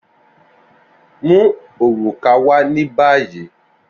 Mu oruka wa ni bayi!